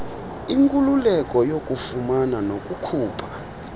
inkululeko yokufumana nokukhupha